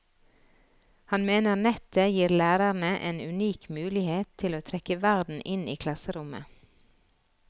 Han mener nettet gir lærerne en unik mulighet til å trekke verden inn i klasserommet.